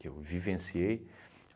que eu vivenciei.